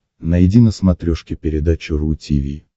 найди на смотрешке передачу ру ти ви